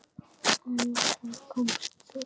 En þá komst þú.